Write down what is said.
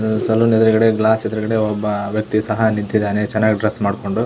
Salon ಎದುರುಗಡೆ glass ಎದುರುಗಡೆ ಒಬ್ಬ ವ್ಯಕ್ತಿ ಸಹ ನಿಂತಿದ್ದಾನೆ ಚೆನ್ನಾಗಿ ಡ್ರೆಸ್ ಮಾಡ್ಕೊಂಡು.